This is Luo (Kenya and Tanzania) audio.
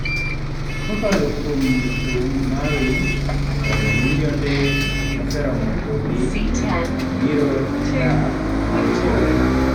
"Kokalo kuom thum mari kod milionde moseromo kodi, ibiro dak nyaka chieng'."""